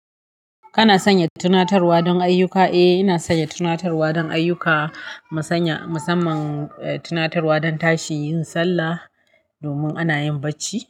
Kana sanya tunatarwa don ayyuka? Eh, ina sanya tunatarwa don ayyuka. Masanya-- musamman, eh, tunatarwa don tashi yin sallah domin ana yin bacci.